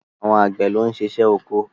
Àwọn Àgbẹ̀ ló ń ṣiṣẹ́ oko.